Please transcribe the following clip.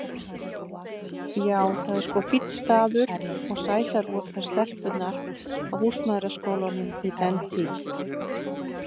Já, það er sko fínn staður og sætar voru þær stelpurnar á húsmæðraskólanum í dentíð.